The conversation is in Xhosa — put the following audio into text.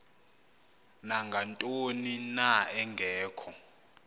nangantoni na engekho